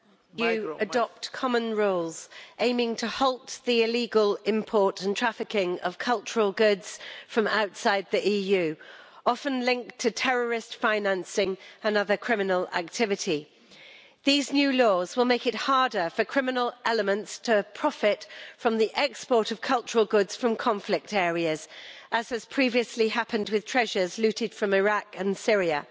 Mr President, it is the first time that you have adopted common rules aiming to halt the illegal import and trafficking of cultural goods from outside the EU, often linked to terrorist financing and other criminal activity. These new laws will make it harder for criminal elements to profit from the export of cultural goods from conflict areas, as has previously happened with treasures looted from Iraq and Syria.